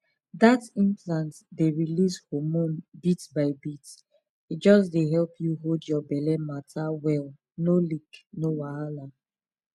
that implant dey release hormone bit by bit e just dey help you hold your belle matter well no leak no wahala